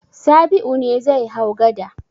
Sabi'u ne zai hau gada.